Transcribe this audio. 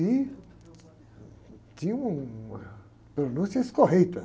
E tinha uma pronúncia escorreita.